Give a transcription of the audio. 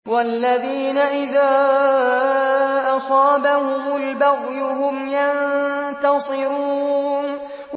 وَالَّذِينَ إِذَا أَصَابَهُمُ الْبَغْيُ هُمْ يَنتَصِرُونَ